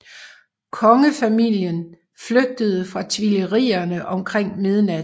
Kongefamilien flygtede fra Tuilerierne omkring midnat